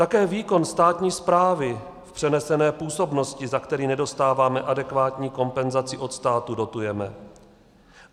Také výkon státní správy v přenesené působnosti, za který nedostáváme adekvátní kompenzaci od státu, dotujeme.